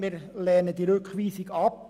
Wir lehnen die Rückweisung ab.